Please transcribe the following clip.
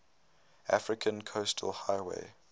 african coastal highway